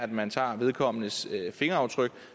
man tager vedkommendes fingeraftryk